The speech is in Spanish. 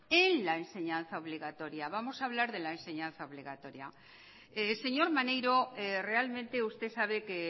en la enseñaza obligatoria vamos a hablar de la enseñanza obligatoria señor maneiro realmente usted sabe que